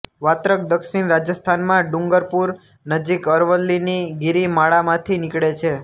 વાત્રક દક્ષિણ રાજસ્થાનમાં ડુંગરપુર નજીક અરવલ્લીની ગિરિમાળામાંથી નીકળે છે